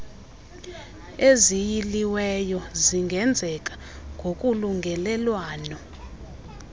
eziyiliweyo zingenzeka ngokolungelelwano